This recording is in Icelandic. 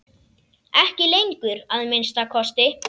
Ekki lengur, að minnsta kosti.